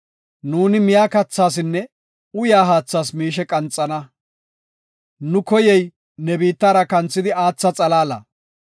Nuuni miya kathasinne uyaa haathas miishe qanxana. Nu koyey ne biittara kanthi aatha xalaala.